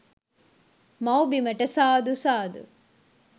මව් බිමට සාදු සාදු